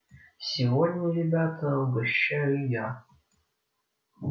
сегодня ребята угощаю я